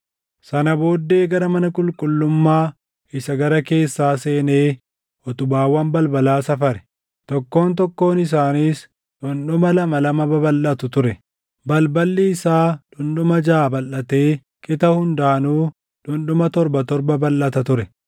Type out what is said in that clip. Sana booddee gara mana qulqullummaa isa gara keessaa seenee utubaawwan balbalaa safare; tokkoon tokkoon isaaniis dhundhuma lama lama babalʼatu ture. Balballi isaa dhundhuma jaʼa balʼatee qixa hundaanuu dhundhuma torba torba balʼata ture.